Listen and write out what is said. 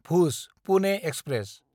भुज–पुने express